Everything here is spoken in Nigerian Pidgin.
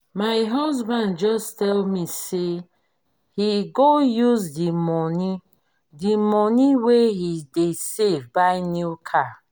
my husband just tell me say he go use the money the money wey he dey save buy new car.